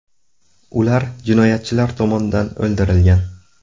Ular jinoyatchilar tomonidan o‘ldirilgan.